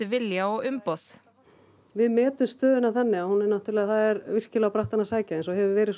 vilja og umboð við metum stöðuna þannig að það er virkilega á brattann að sækja eins og hefur verið